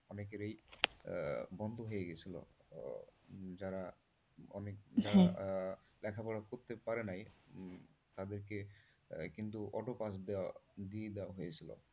অনেকেরেই বন্ধ হয়ে গেছিল যারা মানে লেখাপড়া করতে পারে নাই তাদেরকে কিন্তু auto pass দেওয়া দিয়ে দেওয়া হয়েছিল।